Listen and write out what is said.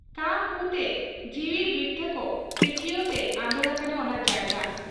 ᱠᱟᱻᱠᱩ ᱛᱮ, ᱡᱤᱣᱤ ᱵᱤᱛᱷᱟᱹᱠ ᱠᱤᱠᱭᱟᱹᱣ ᱛᱮ ᱟᱸᱫᱚᱲ ᱟᱠᱟᱱᱟ ᱚᱱᱟ ᱡᱟᱭᱜᱟ ᱾